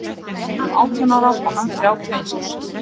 Hún var rétt um átján ára og hann þrjátíu og eins árs.